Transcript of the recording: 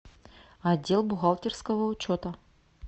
отдел бухгалтерского учета